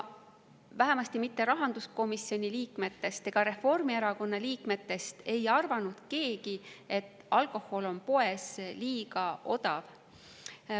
Vähemasti rahanduskomisjoni ega Reformierakonna liikmetest ei arvanud keegi, et alkohol on poes liiga odav.